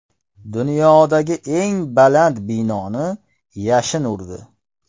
Dunyodagi eng baland binoni yashin urdi .